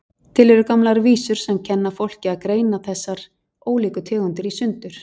Til eru gamlar vísur sem kenna fólki að greina þessar ólíku tegundir í sundur,